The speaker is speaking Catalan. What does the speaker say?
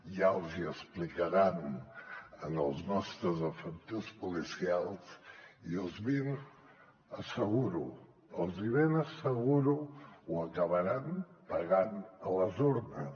ja els hi explicaran als nostres efectius policials i els ben asseguro els ben asseguro que ho acabaran pagant a les urnes